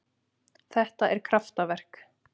Þetta er kraftaverk.